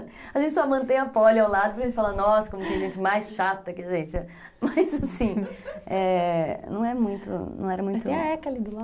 A gente só mantém a poli ao lado para a gente falar, nossa, como tem gente mais chata que a gente é. Mas assim, não é muito, não era muito... Tem a eca ali do lado.